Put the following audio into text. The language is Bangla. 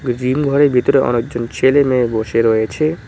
জিম ঘরের ভেতরে অনেকজন ছেলে মেয়ে বসে রয়েছে।